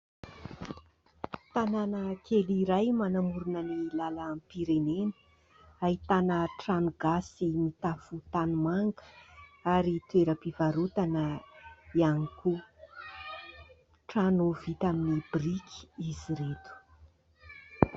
Tanana kely iray manamorina ny lalam-pirenena ahitana trano gasy mitafo tanimanga ary toeram-pivarotana ihany koa. Trano vita amin'ny biriky izy ireto.